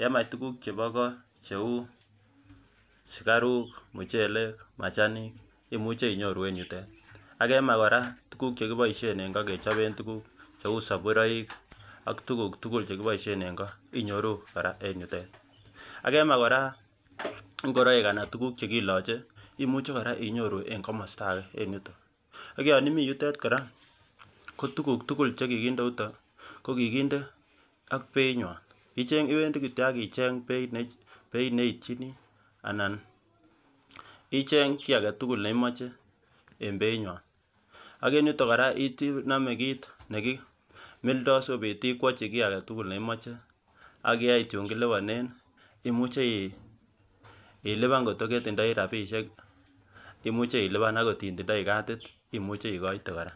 yemach tukuuk chebo kot cheuu sukaruuk, muchelek, macahanik imuche inyoru en yutet ak yemach kora tukuk chekiboisien eng kot kechoben tukuk cheu soburoik ak tukuk tukul chekiboisyen en ko inyoru kora eng yutet ak yemach kora ngoroik anan tukuk chekiloche imuche kora inyoru en komosta ake en yuton ak yan imii yutet kora ko tukuuk tukul chekikinde yuton kokikindee ak beitnywan iwendi kityo ak icheng beit neiityini anan icheng kiy aketukul neimoche eng beinywan ak eng yuton kora inome kit nekimildoo asikobiitb ikwochi kiy aketukul neimoche ak yeit yuun kilibonen imuche ilipinan ngotko ketindoi rapisiiek, imuche ilipan akot iliban ngot itindoi cadit imuche ikoite kora